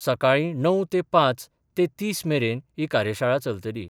सकाळी णव ते पांच ते तीस मेरेन ही कार्यशाळा चलतली.